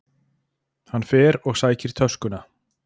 Hann fer og sækir töskuna.